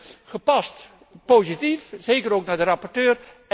Dus ik ben gepast positief, zeker ook jegens de rapporteur.